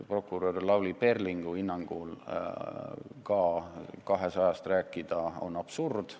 Peaprokurör Lavly Perlingu hinnangul on aga 200 miljardist rääkida absurd.